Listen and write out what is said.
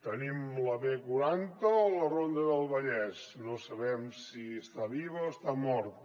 tenim la b quaranta o la ronda del vallès no sabem si està viva o està morta